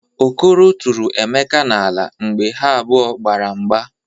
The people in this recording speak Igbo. Okoro tụrụ Emeka n'ala mgbe ha abụọ gbara mgba.